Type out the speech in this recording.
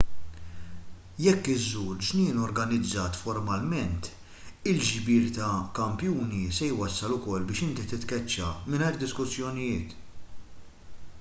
jekk iżżur ġnien organizzat formalment il-ġbir ta' kampjuni se jwassal ukoll biex inti titkeċċa mingħajr diskussjonijiet